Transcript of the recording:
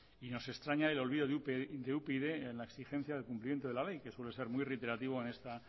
y nos extraña el olvido de upyd en la exigencia del cumplimiento de la ley que suele ser muy reiterativo en esta